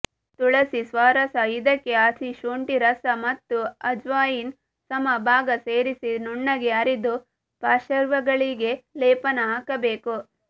ತುಲಸಿ ಸ್ವರಸ ಇದಕ್ಕೆ ಹಸಿಶುಂಠಿರಸ ಮತ್ತು ಅಜವಾಯಿನ್ ಸಮಬಾಗ ಸೇರಿಸಿ ನುನ್ನಗೆ ಅರೆದು ಪಾಶ್ರ್ವಗಳಿಗೆ ಲೇಪನ ಹಾಕಬೇಕು